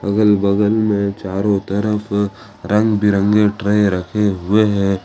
अगल बगल में चारों तरफ रंग बिरंगे ट्रे रखे हुए हैं।